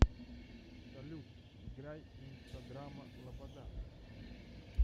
салют играй инстадрама лобода